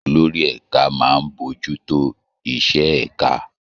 Olórí ẹ̀ka máa ń bójú tó iṣẹ́ ẹ̀ka